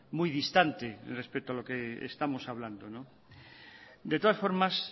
muy distante respecto a lo que estamos hablando de todas formas